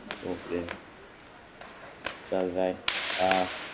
ચાલ રાઇ હા બરાબર